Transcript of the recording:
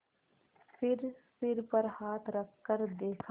फिर सिर पर हाथ रखकर देखा